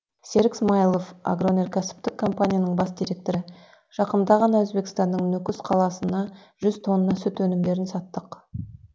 серік смаилов агроөнеркәсіптік компанияның бас директоры жақында ғана өзбекстанның нүкіс қаласына жүз тонна сүт өнімдерін саттық